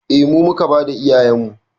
Eh mu muka bada iyayenmu